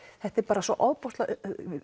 þetta er bara svo ofboðslega